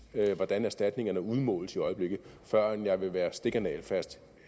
hvordan erstatningerne udmåles i øjeblikket før jeg vil være stik og nagelfast